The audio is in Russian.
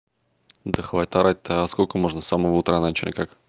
да хватит орать-то сколько можно с самого утра начали как